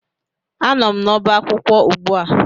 Anọ m n'ọba akwụkwọ ugbua